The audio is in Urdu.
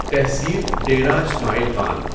تحصیل ڈیره اسماعیل خان